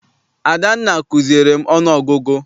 Adanna kuziere m ọnụ ọgụgụ.